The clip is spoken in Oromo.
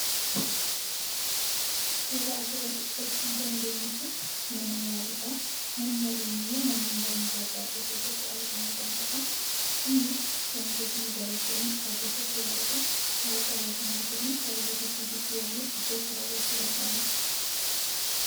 Suuraan asirratti arguu dandeenyu kun mana yaaliidha. Manni yaaliin immoo manneen barnootaa addaa addaa keessatti argamuu danda'a. Innis wantoota barattoonni kutaa keessatti baratan haala qabatamaa ta'een hojiitti jijjiiranii iddoo itti hirmaachuu danda'anidha.